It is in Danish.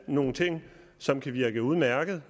nogle ting som kan virke udmærkede